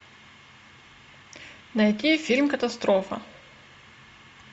найти фильм катастрофа